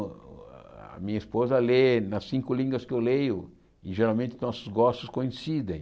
A minha esposa lê nas cinco línguas que eu leio e geralmente nossos gostos coincidem.